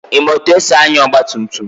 Ị ma etu esi anya ọgba tum tum?